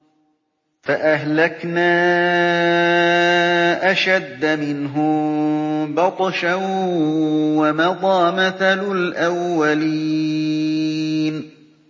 فَأَهْلَكْنَا أَشَدَّ مِنْهُم بَطْشًا وَمَضَىٰ مَثَلُ الْأَوَّلِينَ